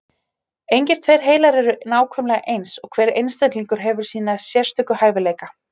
Engir tveir heilar eru nákvæmlega eins, og hver einstaklingur hefur sína sérstöku hæfileika.